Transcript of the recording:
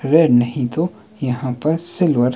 red नहीं तो यहां बस सिल्वर --